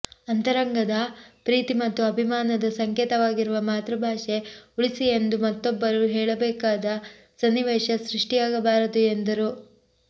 ಅಂತರಂಗದ ಪ್ರೀತಿ ಮತ್ತು ಅಭಿಮಾನದ ಸಂಕೇತವಾಗಿರುವ ಮಾತೃಭಾಷೆ ಉಳಿಸಿ ಎಂದು ಮತ್ತೊಬ್ಬರು ಹೇಳಬೇಕಾದ ಸನ್ನಿವೇಶ ಸೃಷ್ಟಿಯಾಗಬಾರದು ಎಂದರು